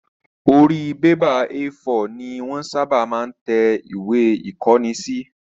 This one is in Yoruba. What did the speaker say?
Orí bébà A4 ni wọ́n ṣábà máa ń tẹ ìwé ìkóni